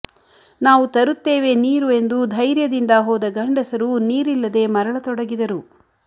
ನಾವು ತರುತ್ತೇವೆ ನೀರು ಎಂದು ಧೈರ್ಯದಿಂದ ಹೋದ ಗಂಡಸರೂ ನೀರಿಲ್ಲದೆ ಮರಳತೊಡಗಿದರು